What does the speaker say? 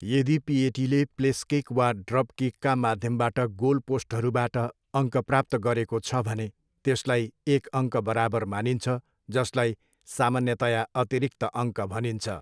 यदि पिएटीले place kick वा ड्रप किकका माध्यमबाट गोल पोस्टहरूबाट अङ्क प्राप्त गरेको छ भने, त्यसलाई एक अङ्क बराबर मानिन्छ जसलाई सामान्यतया अतिरिक्त अङ्क भनिन्छ।